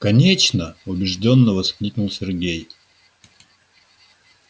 конечно убеждённо воскликнул сергей